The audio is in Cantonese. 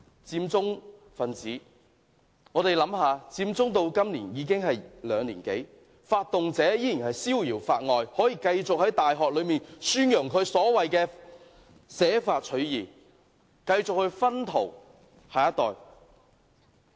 我們想一想，佔中發生至今已有兩年多，發動者仍然逍遙法外，可以繼續在大學內宣揚他所謂的捨法取義主張，繼續"薰陶"下一代。